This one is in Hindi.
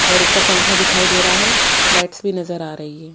और उपर पंखा दिखाई दे रहा है और लाइट्स भी नजर आ रही है।